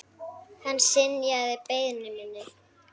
Hann synjaði beiðni minni.